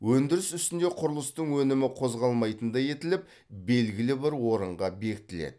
өндіріс үстінде құрылыстың өнімі қозғалмайтындай етіліп белгілі бір орынға бекітіледі